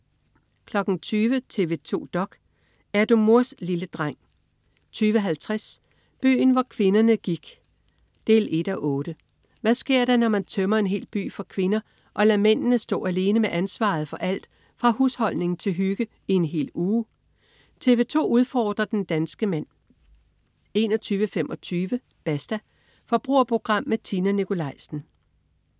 20.00 TV 2 dok.: Er du mors lille dreng? 20.50 Byen hvor kvinderne gik 1:8. Hvad sker der, når man tømmer en hel by for kvinder og lader mændene stå alene med ansvaret for alt fra husholdning til hygge i en hel uge? TV 2 udfordrer den danske mand 21.25 Basta. Forbrugerprogram med Tina Nikolaisen